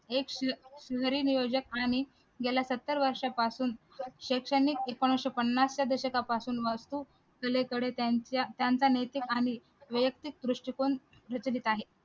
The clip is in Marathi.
एक नियोजक आणि गेल्या सत्तर वर्षापासून एकोणीशे पन्नास च्या दशकापासून त्यांचा नैतिकआणि वैयक्तिक दृष्टिकोन प्रचलित आहे